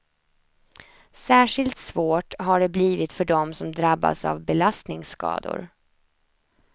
Särskilt svårt har det blivit för dem som drabbas av belastningsskador.